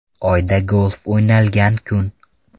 Oyda golf o‘ynalgan kun.